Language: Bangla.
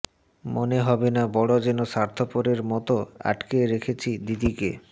মনে হবে না বড় যেন স্বার্থপরের মত আটকে রেখেছি দিদিকে